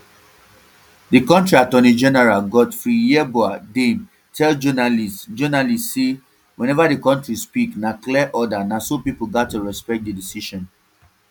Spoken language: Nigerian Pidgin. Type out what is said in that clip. di kontri attorney general godfred yeboah dame tell journalists journalists say whenever di court speak na clear order na so pipo gat to respect di decision